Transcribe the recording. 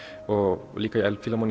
og líka